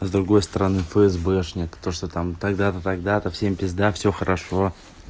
с другой стороны фсбшник то что там тогда-то тогда-то всем пизда всё хорошо